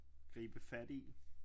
Gribe fat i